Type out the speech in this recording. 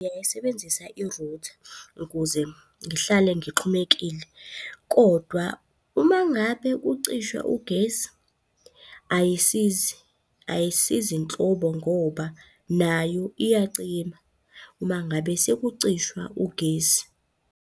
Ngingayisebenzisa irutha ukuze ngihlale ngixhumekile. Kodwa uma ngabe kucishwa ugesi, ayisizi ayisizi nhlobo ngoba nayo iyacima, uma ngabe sekucishwa ugesi.